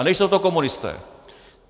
A nejsou to komunisté!